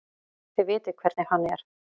Þið vitið hvernig hann er.